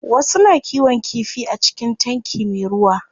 Wasu na kiwon kifi a cikin tanki me ruwa.